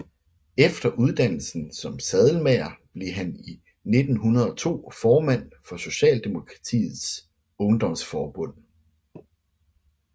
Efter uddannelsen som sadelmager blev han i 1902 formand for Socialdemokratiets Ungdomsforbund